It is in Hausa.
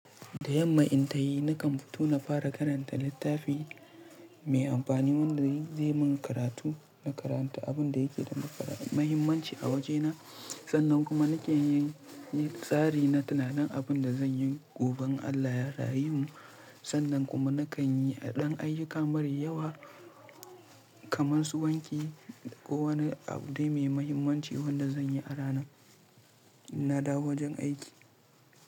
Da yamma in tayi nakan fito na fara karanta littafi mai amfani wanda zai min karatu na karanta abin da yake da mahimmanci a wajena sannan kuma nake yin tsari na tunanin abin da zan yi gobe in Allah ya rayu mu. Sannan kuma nakan yi ɗan ayyuka marar yawa kamar su wanki ko wani abu dai mai mahimmanci wanda zan yi a rana in na dawo wajen aiki.